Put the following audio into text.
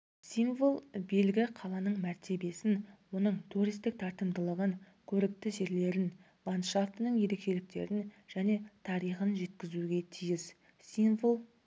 символ белгі қаланың мәртебесін оның туристік тартымдылығын көрікті жерлерін ландшафтының ерекшеліктерін және тарихын жеткізуге тиіс символ